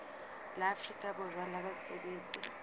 la afrika borwa la basebetsi